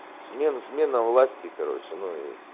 смена смена власти короче ну и